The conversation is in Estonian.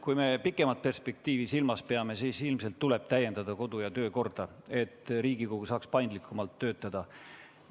Kui me pikemat perspektiivi silmas peame, siis ilmselt tuleb täiendada kodu- ja töökorra seadust, et Riigikogu saaks paindlikumalt töötada.